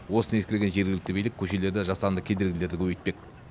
осыны ескерген жергілікті билік көшелерде жасанды кедергілерді көбейтпек